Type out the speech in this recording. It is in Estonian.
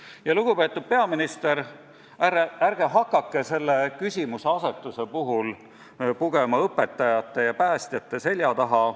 Ja, lugupeetud peaminister, ärge hakake selle küsimuseasetuse puhul pugema õpetajate ja päästjate selja taha.